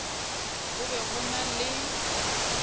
go be go na le